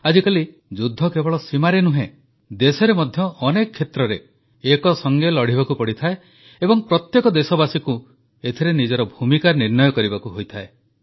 ଆଜିକାଲି ଯୁଦ୍ଧ କେବଳ ସୀମାରେ ନୁହେଁ ଦେଶରେ ମଧ୍ୟ ଅନେକ କ୍ଷେତ୍ରରେ ଏକସଙ୍ଗେ ଲଢ଼ିବାକୁ ପଡ଼ିଥାଏ ଏବଂ ପ୍ରତ୍ୟେକ ଦେଶବାସୀକୁ ଏଥିରେ ନିଜର ଭୂମିକା ନିର୍ଣ୍ଣୟ କରିବାକୁ ହୋଇଥାଏ